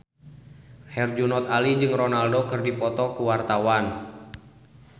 Herjunot Ali jeung Ronaldo keur dipoto ku wartawan